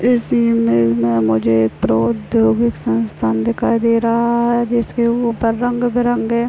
इस इमेज में मुझे एक प्रोद्योगिक संस्था दिखाई दे रहा है इसके ऊपर रंग बिरंगे--